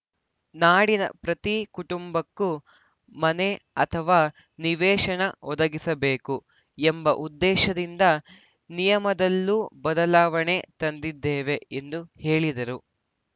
ನಾಡಿನ ಪ್ರತಿ ಕುಟುಂಬಕ್ಕೂ ಮನೆ ಅಥವಾ ನಿವೇಶನ ಒದಗಿಸಬೇಕು ಎಂಬ ಉದ್ದೇಶದಿಂದ ನಿಯಮದಲ್ಲೂ ಬದಲಾವಣೆ ತಂದಿದ್ದೇವೆ ಎಂದು ಹೇಳಿದರು